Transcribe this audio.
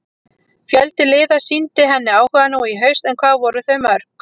Fjöldi liða sýndi henni áhuga nú í haust en hvað voru þau mörg?